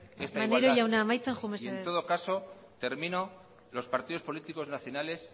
maneiro jauna amaitzen joan mesedez esta igualdad y en todo caso termino los partidos políticos nacionales